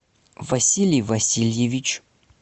василий васильевич